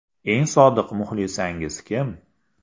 – Eng sodiq muxlisangiz kim?